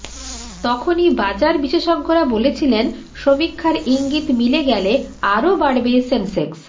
তখনই বাজার বিশেষজ্ঞরা বলেছিলেন সমীক্ষার ইঙ্গিত মিলে গেলে আরও বাড়বে সেনসেক্স